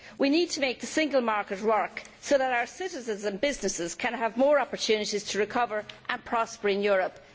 We need to make the single market work so that our citizens and businesses can have more opportunities to recover and prosper in Europe.